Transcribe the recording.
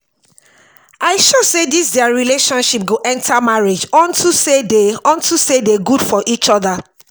i sure say dis their relationship go enter marriage unto say dey unto say dey good for each other